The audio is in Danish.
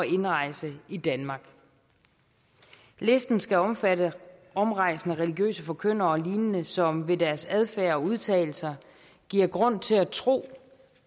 indrejse i danmark listen skal omfatte omrejsende religiøse forkyndere og lignende som ved deres adfærd og udtalelser giver grund til at tro